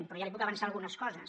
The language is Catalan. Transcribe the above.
però ja li puc avançar algunes coses